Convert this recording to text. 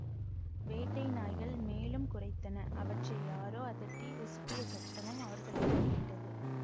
வேட்டை நாய்கள் மேலும் குரைத்தன அவற்றை யாரோ அதட்டி உசுப்பிய சத்தமும் அவர்களுக்கு கேட்டது